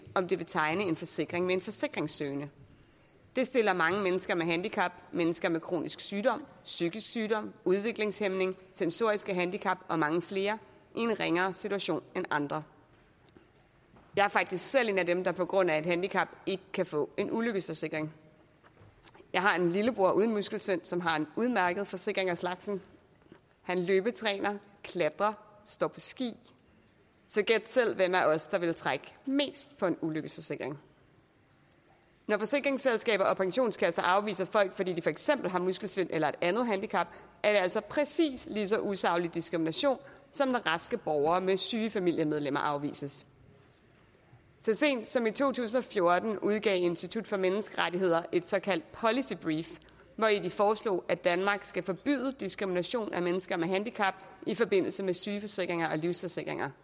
om det vil tegne en forsikring med en forsikringssøgende det stiller mange mennesker med handicap mennesker med kronisk sygdom psykisk sygdom udviklingshæmning sensoriske handicap og mange flere i en ringere situation end andre jeg er faktisk selv en af dem der på grund af et handicap ikke kan få en ulykkesforsikring jeg har en lillebror uden muskelsvind som har en udmærket forsikring af slagsen han løbetræner klatrer står på ski så gæt selv hvem af os der ville trække mest på en ulykkesforsikring når forsikringsselskaber og pensionskasser afviser folk fordi de for eksempel har muskelsvind eller et andet handicap er det altså præcis lige så usaglig diskrimination som når raske borgere med syge familiemedlemmer afvises så sent som i to tusind og fjorten udgav institut for menneskerettigheder et såkaldt policy brief hvori de foreslog at danmark skal forbyde diskrimination af mennesker med handicap i forbindelse med sygeforsikringer og livsforsikringer